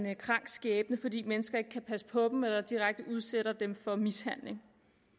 krank skæbne fordi mennesker ikke kan passe på dem eller direkte udsætter dem for mishandling